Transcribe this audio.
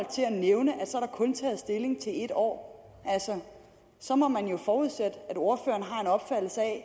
til at nævne at år altså så må man jo forudsætte